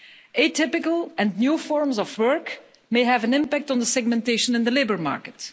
Atypical and new forms of work may have an impact on the segmentation of the labour market.